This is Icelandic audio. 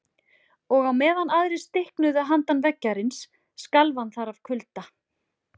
Og á meðan aðrir stiknuðu handan veggjarins skalf hann þar af kulda.